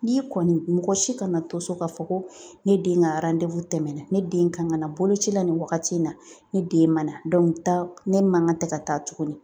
N'i kɔni mɔgɔ si kana to so k'a fɔ ko ne den ka tɛmɛna ne den kan ka na boloci la nin wagati in na ne den ma na ne man kan ka tɛ ka taa tuguni